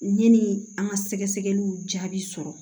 Yanni an ka sɛgɛsɛgɛliw jaabi sɔrɔ